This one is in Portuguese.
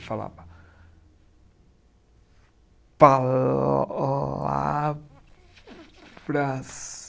Ele falava. Pa la vras